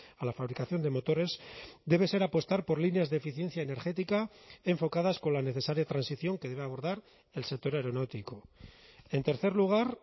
a la fabricación de motores debe ser apostar por líneas de eficiencia energética enfocadas con la necesaria transición que debe abordar el sector aeronáutico en tercer lugar